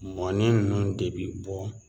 Mɔnen ninnu de bɛ bɔ